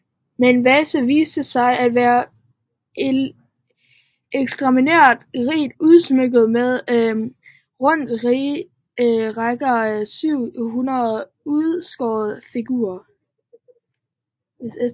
Men Vasa viste sig at være ekstremt rigt udsmykket med rundt regnet 700 udskårne figurer